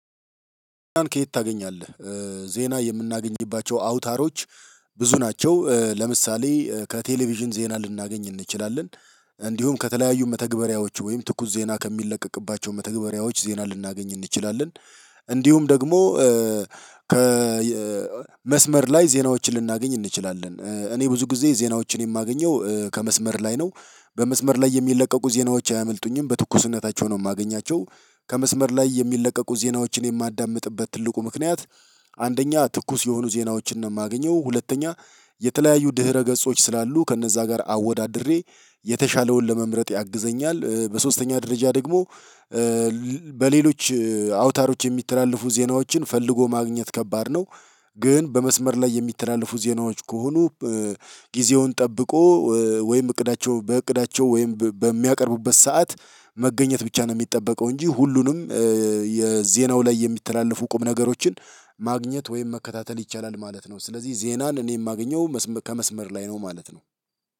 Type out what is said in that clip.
ከየት? ታገኛለህ ዜና የምናገኝባቸው አውታሮች ብዙ ናቸው። ለምሳሌ ከቴሌቪዥን ዜና ልናገኝ እንችላለን። እንዲሁም ከተለያዩ መተግበሪያዎቹ ወይም ትኩስ ዜና ከሚለቀቅባቸው መተግበሪያዎች ዜና ልናገኝ እንችላለን። እንዲሁም ደግሞ ከመስመር ላይ ዜናዎችን ልናገኝ እንችላለን እኔ ብዙ ጊዜ ዜናዎችን የማገኘው ከመስመር ላይ ነው። በመስመር ላይ የሚለቀቁ ዜናዎች አያመልጡኝም በትኩስነታቸው ነው የማገኛቸው። ከመስመር ላይ የሚለቀቁ ዜናዎችን የማዳምጥበት ትልቁ ምክንያት። አንደኛ ትኩስ የሆኑ ዜናዎችን ነው የማገኘው። ሁለተኛ የተለያዩ ድህረ ገጾች ስላሉ ከእነዛ ጋር አወዳድሬ የተሻለውን ለመምረጥ ያግዘኛል። በሶስተኛ ደረጃ ደግሞ በሌሎች አውታሮች የሚተላለፉ ዜናዎችን ፈልጎ ማግኘት ከባድ ነው። ግን በመስመር ላይ የሚተላለፉ ዜናዎች ከሆኑ ጊዜውን ጠብቆ ወይም እቅዳቸው በእቅዳቸው ወይም በሚያቀርቡበት ሰዓት መገኘት ብቻ ነው የሚጠበቀው። እንጂ ሁሉንም የዜናው ላይ የሚተላለፉ ቁም ነገሮችን ማግኘት ወይም መከታተል ይቻላል ማለት ነው። ስለዚህ ዜናን እኔ የማገኘው ከመስመር ላይ ነው ማለት ነው።